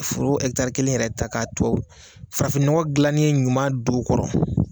Furu ekitari kelen yɛrɛ ta kato farafinnɔgɔn dilanen ɲuman don o kɔrɔ